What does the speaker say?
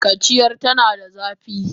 Kaciyar tana da zafi